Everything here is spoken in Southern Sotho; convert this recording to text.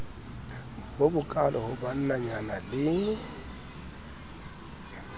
bo bokaalo ho bannanyana le